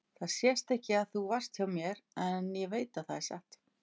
Það sést ekki að þú varst hjá mér en ég veit það er satt.